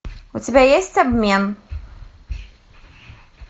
у тебя есть обмен